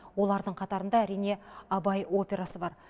олардың қатарында әрине абай операсы бар